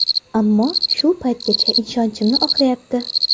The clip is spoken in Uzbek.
Ammo shu paytgacha ishonchimni oqlayapti”.